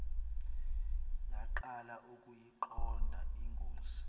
yaqala ukuyiqonda ingozi